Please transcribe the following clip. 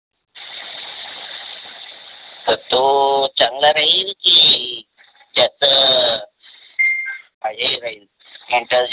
तर तो चांगला राहील कि त्याच .